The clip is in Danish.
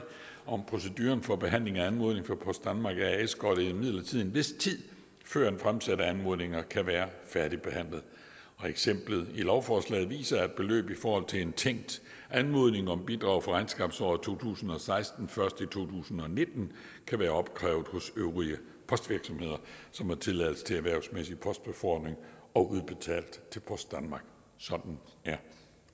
om proceduren for behandling af anmodning fra post danmark as går der imidlertid en vis tid før fremsatte anmodninger kan være færdigbehandlet eksemplet i lovforslaget viser at beløb i forhold til en tænkt anmodning om bidrag for regnskabsåret to tusind og seksten først i to tusind og nitten kan være opkrævet hos øvrige postvirksomheder som har tilladelse til erhvervsmæssig postbefordring og udbetalt til post danmark sådan er